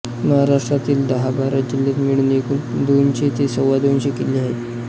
महाराष्ट्रातील दहा बारा जिल्ह्यात मिळून एकूण दोनशे ते सव्वादोनशे किल्ले आहेत